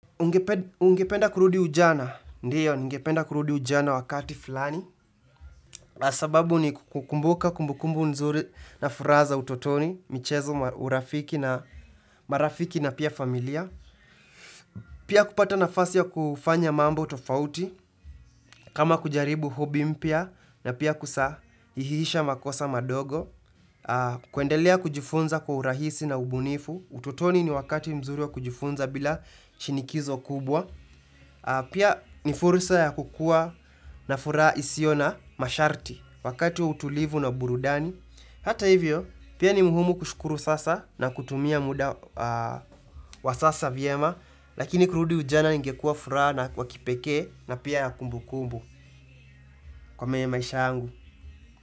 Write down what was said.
Ungependa kurudi ujana, ndiyo, ningependa kurudi ujana wakati fulani sababu ni kukumbuka kumbukumbu mzuri na furaha za utotoni, michezo urafiki na marafiki na pia familia Pia kupata nafasi ya kufanya mambo tofauti, kama kujaribu hobi mpya na pia kusahihisha makosa madogo kuendelea kujifunza kwa urahisi na ubunifu, utotoni ni wakati mzuri wa kujifunza bila chinikizo kubwa Pia ni furusa ya kukua na furaha isio na masharti Wakati wa utulivu na burudani Hata hivyo, pia ni muhumu kushukuru sasa na kutumia muda wa sasa vyema Lakini kurudi ujana ingekuwa furaha na kwa kipekee na pia ya kumbukumbu Kwa meye maisha yangu.